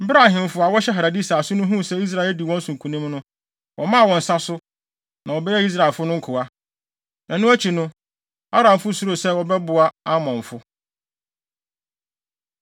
Bere a ahemfo a wɔhyɛ Hadadeser ase no huu sɛ Israel adi wɔn so nkonim no, wɔmaa wɔn nsa so, na wɔbɛyɛɛ Israelfo nkoa. Ɛno akyi no, Aramfo suroo sɛ wɔbɛboa Amonfo.